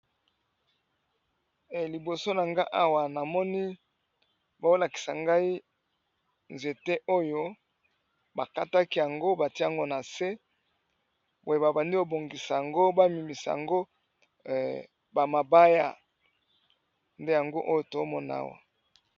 Liboso na nga awa namoni baolakisa ngai nzete oyo bakataki yango batiango na se boye babandi obongisa yango bamimisa yango bamabaya nde yango oyo tomonawa.